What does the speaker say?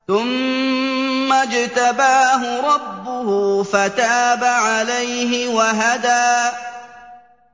ثُمَّ اجْتَبَاهُ رَبُّهُ فَتَابَ عَلَيْهِ وَهَدَىٰ